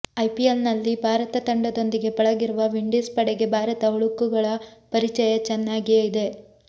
IPL ನಲ್ಲಿ ಭಾರತ ತಂಡದೊಂದಿಗೆ ಪಳಗಿರುವ ವಿಂಡೀಸ್ ಪಡೆಗೆ ಭಾರತ ಹುಳುಕುಗಳ ಪರಿಚಯ ಚೆನ್ನಾಗಿಯೇ ಇದೆ